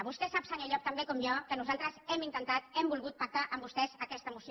vostè sap senyor llop tan bé com jo que nosaltres hem intentat hem volgut pactar amb vostès aquesta moció